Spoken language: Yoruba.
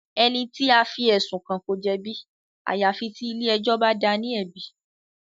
Ẹni tí a fí ẹ̀sùn kàn ko jẹ̀bi àyàfi tí ilé ẹjọ́ bá dáa ní ẹ̀bi.